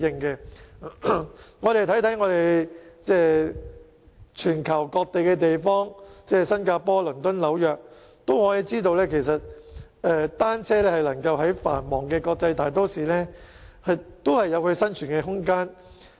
大家只要看看全球各地，例如新加坡、倫敦和紐約，便會發現單車在該等繁忙的國際大都會裏亦有生存空間。